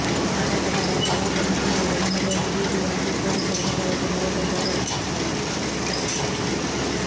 ಮಾರಾಟಗಾರರ ಗಲಾಟೆ ಮಿತಿಮೀರಿದ ಹಿನ್ನೆಲೆಯಲ್ಲಿ ಬಿಬಿಎಂಪಿ ಪೊಲೀಸರ ನೆರವಿಗೆ ಮೊರೆ ಹೋದರು